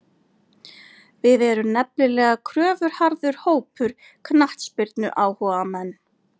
Við erum nefnilega kröfuharður hópur, knattspyrnuáhugamenn.